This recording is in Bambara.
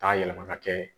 K'a yɛlɛma ka kɛ